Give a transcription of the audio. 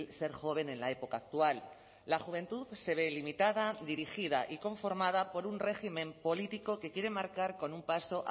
ser joven en la época actual la juventud se ve limitada dirigida y conformada por un régimen político que quiere marcar con un paso